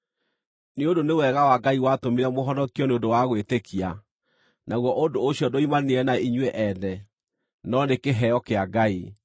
Nĩ ũndũ nĩ wega wa Ngai watũmire mũhonokio nĩ ũndũ wa gwĩtĩkia, naguo ũndũ ũcio nduoimanire na inyuĩ ene, no nĩ kĩheo kĩa Ngai,